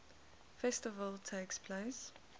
festival takes place